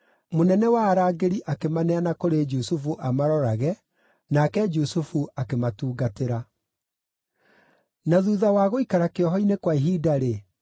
Mũnene wa arangĩri akĩmaneana kũrĩ Jusufu amarorage, nake Jusufu akĩmatungatĩra. Na thuutha wa gũikara kĩoho-inĩ kwa ihinda-rĩ,